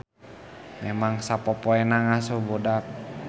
Memang sapopoena ngasuh budak